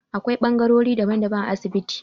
Akwai bangarori daban-daban a asibiti